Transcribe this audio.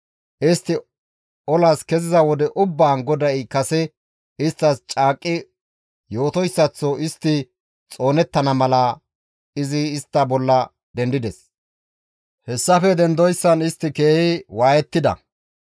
Istti olas keziza wode ubbaan GODAY kase isttas caaqqi yootoyssaththo istti xoonettana mala izi istta bolla dendides; hessafe dendoyssan istti keehi waayettida.